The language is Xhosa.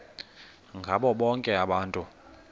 ngabo bonke abantu